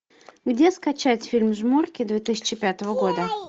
где скачать фильм жмурки две тысячи пятого года